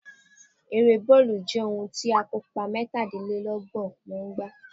Ere bọọlu jẹ ohun ti akopa mẹtalelọgbọn maa n gba